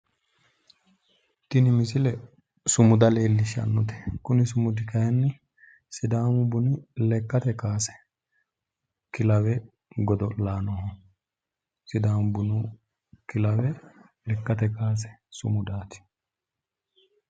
Tini misile sumuda leellishshannote kuni sumudi kaayiinni sidaamu buni lekkate kaase kilawe godo'laanoho. sidaamu bunu kilawe lekkate kaase sumudaati.